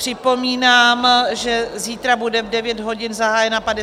Připomínám, že zítra bude v 9 hodin zahájena 54. schůze.